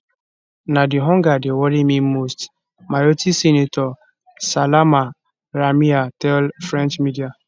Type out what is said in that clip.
na di hunger dey worry me most mayotte senator salama ramia tell french media